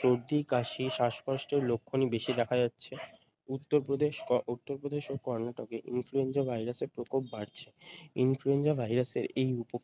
সর্দি কাশি শ্বাসকষ্টের লক্ষনই বেশি দেখা যাচ্ছে উত্তর প্রদেশে উত্তর প্রদেশ ও কর্নাটকে influenza ভাইরাসে প্রকোপ বাড়ছে influenza ভাইরাসের এই উপক